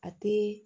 A te